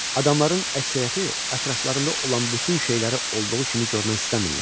Adamların əksəriyyəti ətraflarında olan bütün şeyləri olduğu kimi görmək istəmirlər.